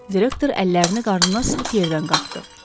Direktor əllərini qarnına sıxıb yerdən qalxdı.